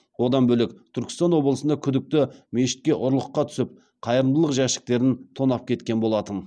одан бөлек түркістан облысында күдікті мешітке ұрлыққа түсіп қайырымдылық жәшіктерін тонап кеткен болатын